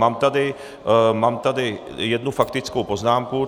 Mám tady jednu faktickou poznámku.